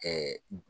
Ɛɛ